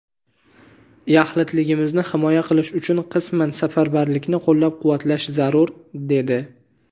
yaxlitligimizni himoya qilish uchun qisman safarbarlikni qo‘llab-quvvatlash zarur, dedi.